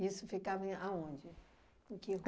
Isso ficava em aonde? Em que